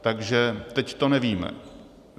Takže teď to nevíme.